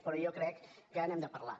però jo crec que n’hem de parlar